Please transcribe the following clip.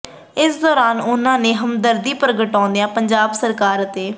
ਇਸ ਦੌਰਾਨ ਉਨ੍ਹਾਂ ਨੇ ਹਦਮਦਰਦੀ ਪ੍ਰਗਟਾਉਂਦਿਆਂ ਪੰਜਾਬ ਸਰਕਾਰ ਅਤੇ